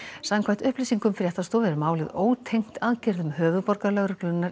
samkvæmt upplýsingum fréttastofu er málið ótengt aðgerðum